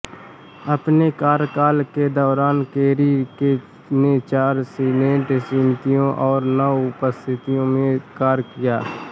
अपने कार्यकाल के दौरान केरी ने चार सीनेट समितियों और नौ उपसमितियों में कार्य किया